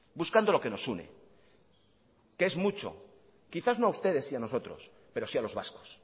buscando lo que nos une que es mucho quizás no a ustedes y a nosotros pero sí a los vascos